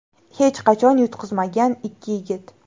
Hech qachon yutqazmagan ikki yigit.